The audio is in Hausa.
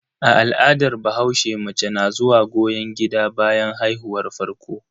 A al'adar bahaushe, mace na zuwa goyon gida bayan haihuwar farko.